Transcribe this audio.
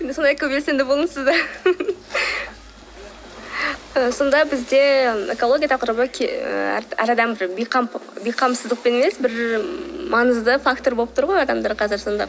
сонда бізде экология тақырыбы әр адам бейқамсыздықпен емес бір маңызды фактор боп тұр ғой адамдар қазір сонда